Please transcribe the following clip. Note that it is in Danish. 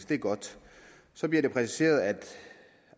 det er godt så bliver det præciseret at